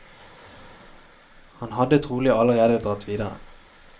Han hadde trolig allerede dratt videre.